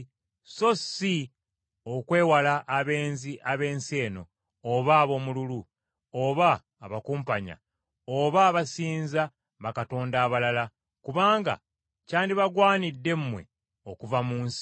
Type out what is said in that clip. so si okwewala abenzi ab’ensi eno, oba aboomululu, oba abakumpanya, oba abasinza bakatonda abalala, kubanga kyandibagwanidde mmwe okuva mu nsi.